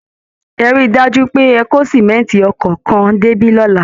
Ẹ rí i dájú pé ẹ kó símẹ̀ǹtì ọkọ̀ kan débí lọ́la